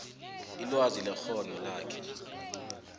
ilwazi nekghono lakhe